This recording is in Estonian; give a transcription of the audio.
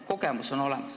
Kogemus on olemas.